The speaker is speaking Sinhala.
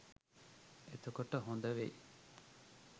එතකොට හොදවෙයි